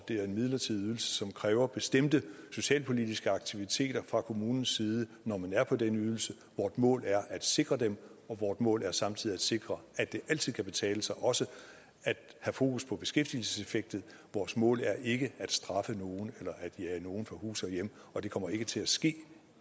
det er en midlertidig ydelse som kræver bestemte socialpolitiske aktiviteter fra kommunens side når man er på den ydelse vort mål er at sikre dem og vort mål er samtidig at sikre at det altid kan betale sig også at have fokus på beskæftigelseseffekten vort mål er ikke at straffe nogen eller at jage nogen fra hus og hjem og det kommer ikke til at ske